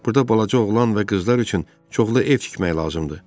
Burda balaca oğlan və qızlar üçün çoxlu ev tikmək lazımdır.